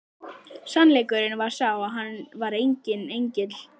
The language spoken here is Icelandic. Sannleikurinn var sá að hann var enginn engill!